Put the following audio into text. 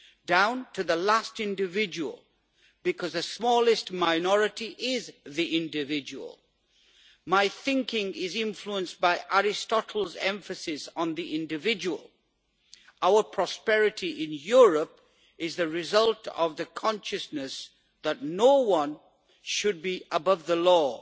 down to the last individual, because the smallest minority is the individual. My thinking is influenced by Aristotle's emphasis on the individual. Our prosperity in Europe is the result of the consciousness that no one should be above the law.